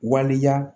Waleya